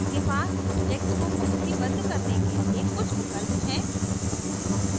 इसके पास objects को पंक्तिबद्ध करने के लिए कुछ विकल्प हैं